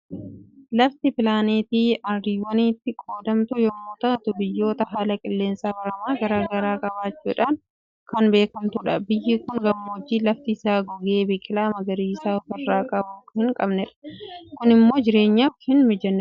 Lafti pilaanetti ardiiwwanitti qoodamtu yommuu taatu, biyyoota haala qilleensa baramaa garaa garaa qabaachuudhaan kan beekamtudha. Biyyi kun gammoojjii lafti isaa gogee biqilaa magariisa ofirraa hin qabnedha. Kunimmoo jireenyaaf hin mijaatu.